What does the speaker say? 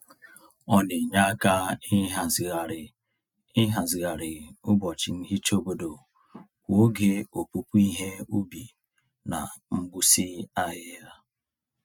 Ọ na-enye aka ịhazigharị ịhazigharị ụbọchị nhicha obodo kwa oge opupu ihe ubi na mgbụsị ahịhịa.